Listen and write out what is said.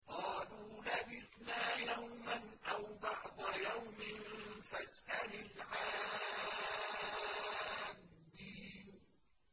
قَالُوا لَبِثْنَا يَوْمًا أَوْ بَعْضَ يَوْمٍ فَاسْأَلِ الْعَادِّينَ